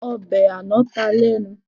Ọbẹ̀ àná ta lẹ́nu